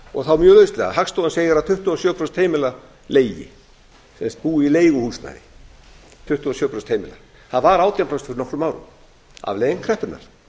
og þá hagstofan segir að tuttugu og sjö prósent heimila leigi búi í leiguhúsnæði tuttugu og sjö prósent heimila það var átján prósent fyrir nokkrum árum afleiðing kreppunnar